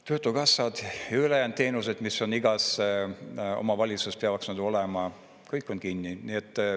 Töötukassad ja ülejäänud teenused, mis on igas omavalitsuses, kõik on kinni.